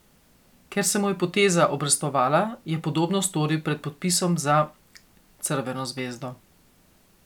Ker se mu je poteza obrestovala, je podobno storil pred podpisom za Crveno zvezdo.